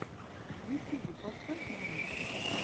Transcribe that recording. в ютюбе поставь мамикса